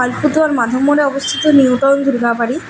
মাধবমোড়ে অবস্থিত নিউটাউন দুর্গাবাড়ি।